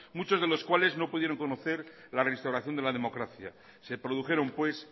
muchos de los cuales no pudieron conocer la reinstauración de la democracia se produjeron pues